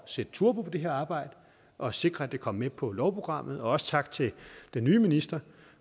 sætte turbo på det her arbejde og sikre at det kom med på lovprogrammet også tak til den nye minister